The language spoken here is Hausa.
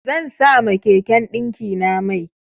Zan sa ma keken ɗinkina mai.